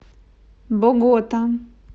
богота